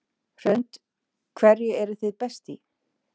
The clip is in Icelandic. Hrund: Hverju eruð þið best í?